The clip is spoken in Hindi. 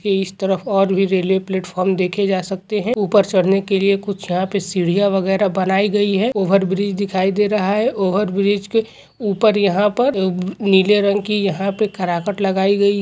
ये इस तरफ और भी रेल्वे प्लेटफ़ार्म देखे जा सकते है ऊपर चढ़ने के लिए यहाँ पर कुछ सीढ़िया वगेरह बनाई गयी है ओवरब्रिज दिखाई दे रहा है ओवरब्रिज के ऊपर यहाँ पर नीले रंग की यहां पे लगाई गयी --